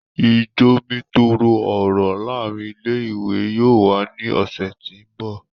ijomitoro ọrọ laarin ile-iwe yóò wa ni ọsẹ ti n bọ.